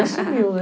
Assumiu, né?